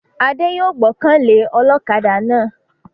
Adé yòó gbọ́kàn lé ọlọ́kaadà náà